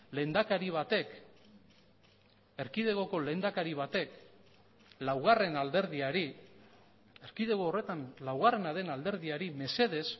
lehendakari batek erkidegoko lehendakari batek laugarren alderdiari erkidego horretan laugarrena den alderdiari mesedez